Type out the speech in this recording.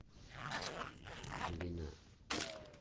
глина